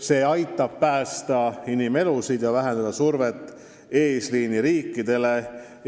See aitab päästa inimelusid ja vähendada survet eesliiniriikidele.